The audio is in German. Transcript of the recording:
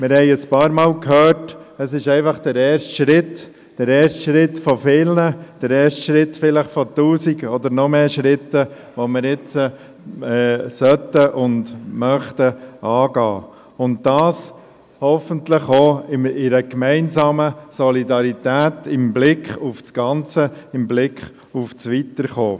Wir haben vorhin ein paarmal gehört, dass dies einfach der erste Schritt von vielen sei, vielleicht von tausenden oder noch mehr Schritten, die wir jetzt angehen möchten, und dies hoffentlich gemeinsam und solidarisch mit Blick aufs Ganze und auf das Weiterkommen.